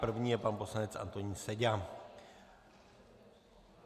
První je pan poslanec Antonín Seďa.